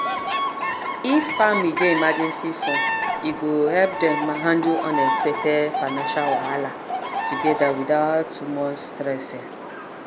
if family get emergency fund e go help dem handle unexpected financial wahala together without too much stress. um